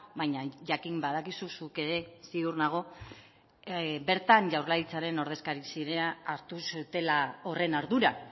baina jakin badakizu zuk ere ziur nago bertan jaurlaritzaren ordezkari zirenak hartu zutela horren ardura